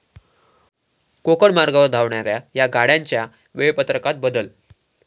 कोकण मार्गावर धावणाऱ्या या गाड्यांच्या वेळापत्रकात बदल